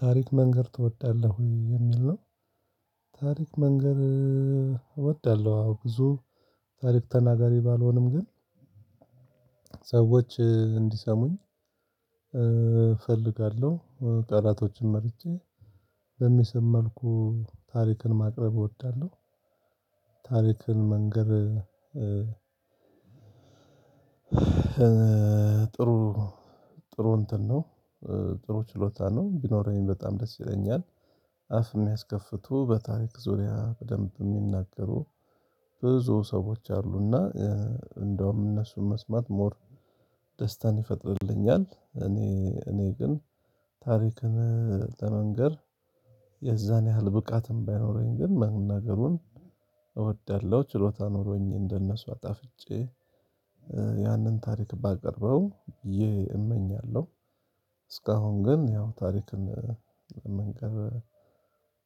ታሪክ መንገር ትወዳለህ? የሚል ነው ታሪክ መንገር እወዳለሁ። አዎ ብዙ ታሪክ ተናጋሪ ባልሆንም ግን ሰዎች እንዲሰሙኝ እፈልጋለሁ። ቃላቶችን መርጬ በሚስብ መልኩ ታሪክን ማቅረብ እወዳለሁ። ታሪክን መንገር ጥሩ ጥሩ እንትን ነው። ጥሩ ችሎታ ነው። ቢኖረኝ በጣም ደስ ይለኛል። አፍ የሚያስከፍቱ በታሪክ ዙሪያ በደንብ የሚናገሩ ብዙ ሰዎች አሉና እንደውም እነሱን መስማት ሞር ደስታን ይፈጥርልኛል። እኔ እኔ ግን ታሪክን ለመንገር የዛን ያህል ብቃትም ባይኖረኝ ግን መናገሩን እወዳለሁ። ችሎታ ኖሮኝ እንደነሱ አጣፍጬ ያንን ታሪክ ባቀርበው እመኛለሁ። እስካሁን ግን ያው ታሪክን መንገር